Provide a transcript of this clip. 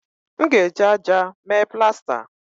M ga-eji ájá mee plasta